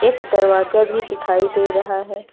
एक दरवाजा भी दिखाई दे रहा है।